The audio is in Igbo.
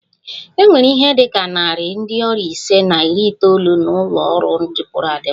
E nwere ihe dị ka narị ndị ọrịa ise na iri itoolu n'ụlọ ọrụ dịpụrụ adịpụ